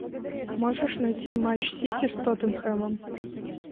можешь найти матч сити с тоттенхэмом